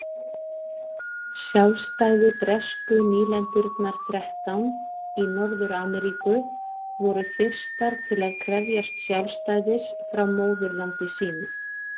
Sjálfstæði Bresku nýlendurnar þrettán í Norður-Ameríku voru fyrstar til að krefjast sjálfstæðis frá móðurlandi sínu.